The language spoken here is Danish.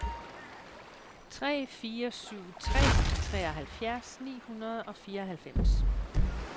tre fire syv tre treoghalvfjerds ni hundrede og fireoghalvfems